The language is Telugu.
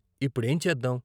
"ఇప్పుడేం చేద్దాం?